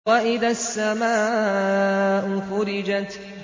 وَإِذَا السَّمَاءُ فُرِجَتْ